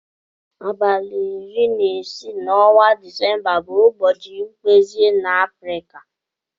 Abali ori na isi na ọnwa decemba bu ụbọchi mkpezi na afrika.